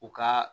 U ka